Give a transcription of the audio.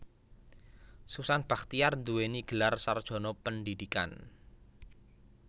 Susan Bachtiar nduwèni gelar sarjana pendhidhikan